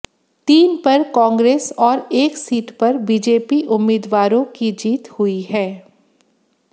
तीन पर कांग्रेस और एक सीट पर बीजेपी उम्मीदवारों की जीत हुई है